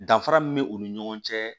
Danfara min bɛ u ni ɲɔgɔn cɛ